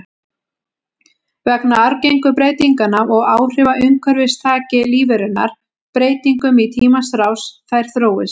Vegna arfgengu breytinganna og áhrifa umhverfis taki lífverurnar breytingum í tímans rás, þær þróist.